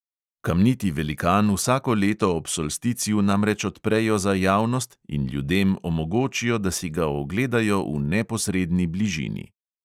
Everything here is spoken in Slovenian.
Kamniti velikan vsako leto ob solsticiju namreč odprejo za javnost in ljudem omogočijo, da si ga ogledajo v neposredni bližini.